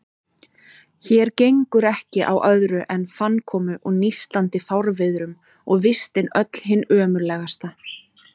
Hér gengur ekki á öðru en fannkomu og nístandi fárviðrum, og vistin öll hin ömurlegasta.